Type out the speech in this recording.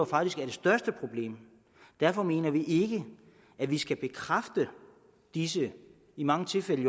faktisk er det største problem derfor mener vi ikke at vi skal bekræfte disse i mange tilfælde